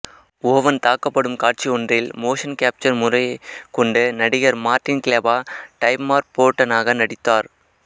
oven தாக்கப்படும் காட்சியொன்றில் motion capture முறையைக் கொண்டு நடிகர் மார்ட்டின் கிளெபா டைமார்ஃபோடனாக நடித்தார்